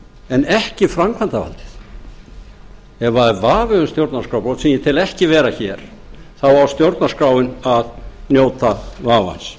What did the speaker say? en ekki framkvæmdavaldið ef það er vafi um stjórnarskrárbrot sem ég tel ekki vera hér þá á stjórnarskráin að njóta vafans